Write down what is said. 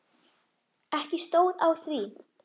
Ekki stóð á því.